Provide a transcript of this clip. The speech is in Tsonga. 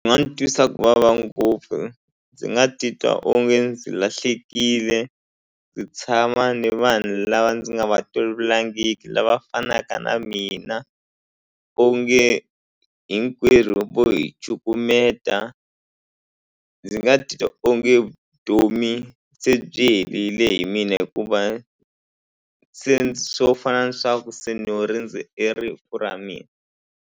nga ni twisa ku vava ngopfu ndzi nga titwa onge ndzi lahlekile ndzi tshama ni vanhu lava ndzi nga va tolovelangiki lava fanaka na mina onge hinkwerhu vo hi cukumeta ndzi nga titwa onge vutomi se byi herile hi mina hikuva se swo fana na swa ku se no rindze e rifu ra mina.